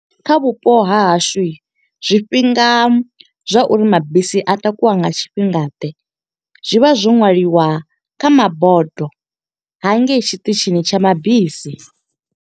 Kha vhupo ha hashu, zwifhinga zwa uri mabisi a takuwa nga tshifhinga ḓe, zwi vha zwo ṅwaliwa kha mabodo hangei tshiṱitshini tsha mabisi.